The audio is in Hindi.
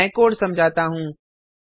अब मैं कोड समझाता हूँ